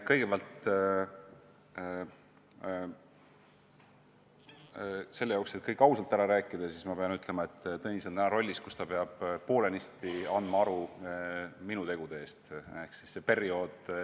Kõigepealt: selleks, et kõik ausalt ära rääkida, ma pean ütlema, et Tõnis on täna rollis, kus ta peab poolenisti andma aru minu tegude eest.